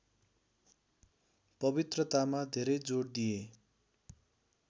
पवित्रतामा धेरै जोड दिए